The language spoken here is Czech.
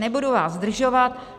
Nebudu vás zdržovat.